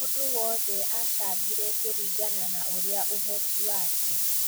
Mũndũ wothe achangire kũringana na ũrĩa ũhoti wake